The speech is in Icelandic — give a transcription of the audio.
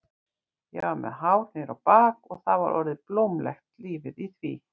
Ég var með hár niður á bak og það var orðið blómlegt lífið í því.